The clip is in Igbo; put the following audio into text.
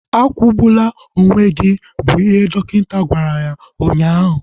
Akwụgbula onwe gị! Bụ ihe dọkịta gwara ya ụnyaahụ